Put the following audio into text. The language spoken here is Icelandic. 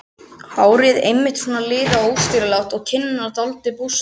Hárið einmitt svona liðað og óstýrilátt og kinnarnar dálítið bústnar.